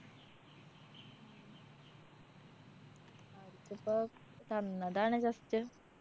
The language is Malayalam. കൊറച്ചിപ്പൊ തന്നതാണ് just.